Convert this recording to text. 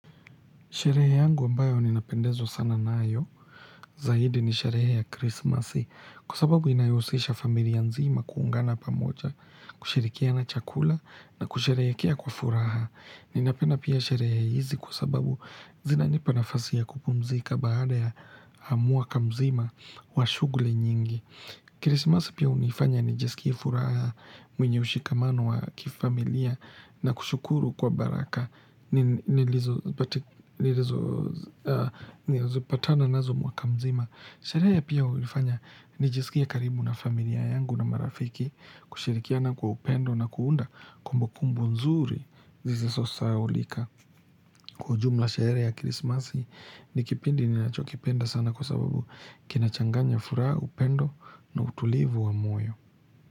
Sherehe yangu ambayo ninapendezwa sana nayo zaidi ni sherehe ya krismasi, kwa sababu inaihusisha familia nzima kuungana pamoja, kushirikiana chakula na kusherehekea kwa furaha. Ninapenda pia sherehe hizi kwa sababu zinanipa nafasi ya kupumzika baada ya mwaka mzima wa shughuli nyingi. Krisimasi pia hunifanya nijisikie furaha mwenye ushikamano wa kifamilia na kushukuru kwa baraka. Nilizopatana nazo mwaka mzima. Sherehe pia hunifanya nijisikie karibu na familia yangu na marafiki kushirikia na kwa upendo na kuunda kumbu kumbu nzuri zisizosahaulika. Kwa ujumla sherehe ya krisimasi ni kipindi ninachokipenda sana kwa sababu kinachanganya furaha, upendo na utulivu wa moyo.